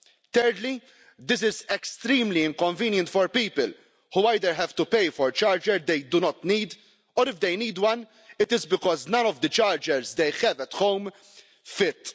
Thirdly, this is extremely inconvenient for people, who either have to pay for a charger they do not need, or if they need one, it is because none of the chargers they have at home fit.